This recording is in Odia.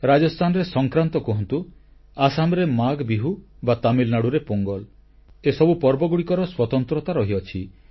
ରାଜସ୍ଥାନରେ ସଂକ୍ରାନ୍ତ କୁହନ୍ତୁ ଆସାମରେ ମାଘବିହୁ ବା ତାମିଲନାଡ଼ୁରେ ପୋଙ୍ଗଲ୍ ଏସବୁ ପର୍ବର ସ୍ୱତନ୍ତ୍ରତା ରହିଛି